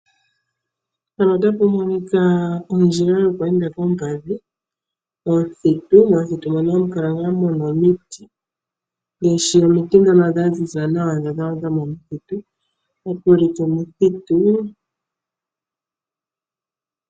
Mpano otapu monika ondjila yokweenda koompadhi omuthitu, momuthitu mono hamu kala ngaa nee muna omiti, ngaashi omiti dhono dhaziza nawa dhomomuthitu.